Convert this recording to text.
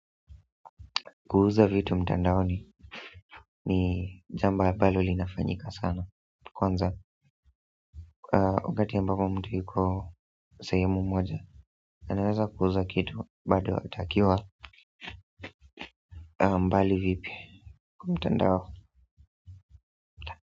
Kuuza vitu mtandaoni jamba ambalo linafanyika sana kwanza, wakati ambapo mtu yuko sehemu moja anaweza kuuza kitu, bado atakiwa mbali vipi mtandao.